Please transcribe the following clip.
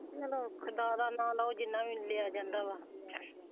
ਨਾਂ ਮੈਂ ਖੁਦਾ ਦਾ ਨਾ ਲਉ ਜਿੰਨਾ ਵੀ ਲਿਆ ਜਾਂਦਾ ਵਾ।